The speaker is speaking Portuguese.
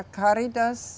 A Cáritas